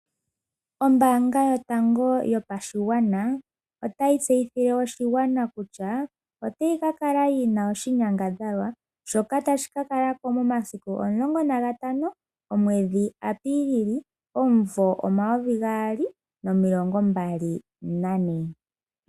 Ombaanga yotango yopashigwana otayi tseyithile oshigwana kutya otayi ka kala yi na oshinyangadhalwa shoka tashi ka kala ko momasiku 15 omwedhi Apiilili omumvo 2024.